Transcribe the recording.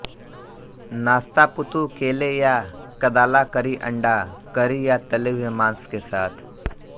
नाश्ता पुत्तु केले या कदाला करी अंडा करी या तले हुए मांस के साथ